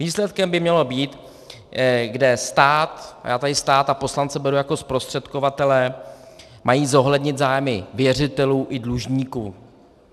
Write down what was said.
Výsledkem by mělo být, kde stát, a já tady stát a poslance beru jako zprostředkovatele, mají zohlednit zájmy věřitelů i dlužníků.